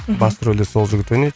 мхм басты рөлде сол жігіт ойнайды